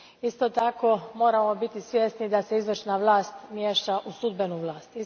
Isto tako, moramo biti svjesni da se izvršna vlast miješa u sudbenu vlast.